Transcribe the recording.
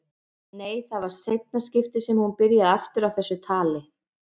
Nei, það var í seinna skiptið sem hún byrjaði aftur á þessu tali.